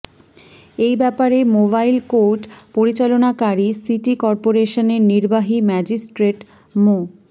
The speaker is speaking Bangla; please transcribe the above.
এই ব্যাপারে মোবাইল কোর্ট পরিচালনাকারী সিটি কর্পোরেশনের নির্বাহী ম্যাজিস্ট্রেট মো